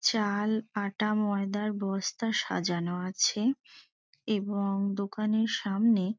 চাল আটা ময়দার বস্তা সাজানো আছে এবং দোকানের সামনে--